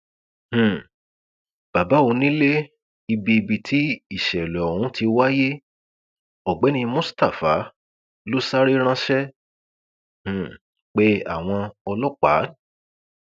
um bàbá onílẹ ibi ibi tí ìsẹlẹ ọhún ti wáyé ọgbẹni mustapha ló sáré ránṣẹ um pe àwọn ọlọpàá